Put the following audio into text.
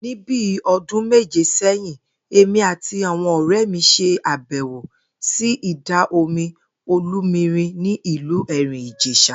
Ní bí o̩dún méje sé̩yìn, èmi àti àwo̩n òré̩ mi s̩e àbè̩wò sí ìdà-omi Olúmirìn ní ìlú Èrìn-Ìjès̩à